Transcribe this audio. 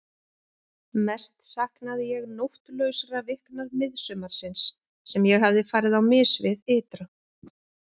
Mest saknaði ég nóttlausra vikna miðsumarsins sem ég hafði farið á mis við ytra.